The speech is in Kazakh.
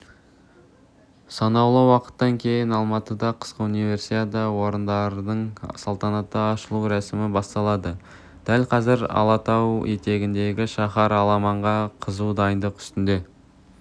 санаулы уақыттан кейін алматыда қысқы универсиада ойындарының салтанатты ашылу рәсімі басталады дәл қазір алатау етегіндегі шаһар аламанға қызу дайындық үстінде